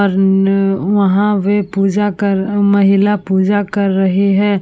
और न वहाँ वे पूज़ा कर महिला पूजा कर रही है।